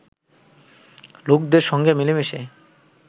লোকদের সঙ্গে মিলে মিশে